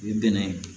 U ye bɛnɛ ye